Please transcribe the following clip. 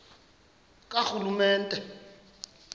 karhulumente